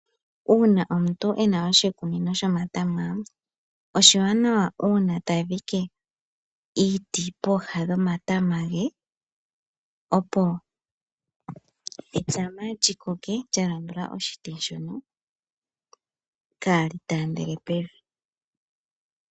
Uuna omuntu ena oshikunino sho matama ,oshi wanawa uuna ta dhike iiti pooha gomatama ge opo etama lyikoke lyalamba oshiti sho kaali taandele pevi.